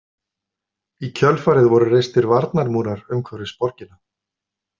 Í kjölfarið voru reistir varnarmúrar umhverfis borgina.